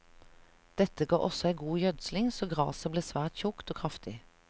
Dette ga også ei god gjødsling, så graset ble svært tjukt og kraftig.